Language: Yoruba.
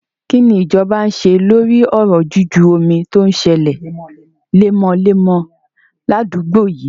Kí ni ìjọba ń ṣe lórí ọ̀rọ̀ juju omi tí ó ń sẹlẹ̀ lemọ́lemọ́ ní àdúgbò yíì?